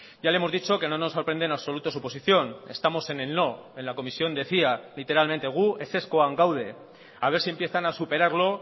ya le hemos dicho que no nos sorprende en absoluto su posición estamos en el no en la comisión decía literalmente gu ezezkoan gaude a ver si empiezan a superarlo